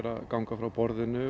að ganga frá borðinu